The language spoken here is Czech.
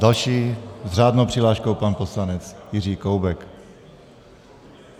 Další s řádnou přihláškou pan poslanec Jiří Koubek.